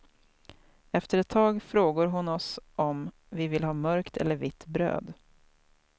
Efter ett tag frågor hon oss om vi vill ha mörkt eller vitt bröd.